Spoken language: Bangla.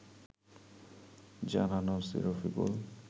জানান ওসি রফিকুল